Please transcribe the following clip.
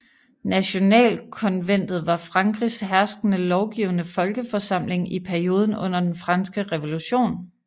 Nationalkonventet var Frankrigs herskende lovgivende folkeforsamling i perioden under den Franske Revolution